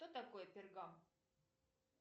кто такой пергам